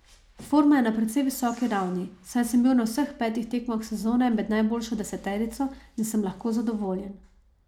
Forma je na precej visoki ravni, saj sem bil na vseh petih tekmah sezone med najboljšo deseterico in sem lahko zadovoljen.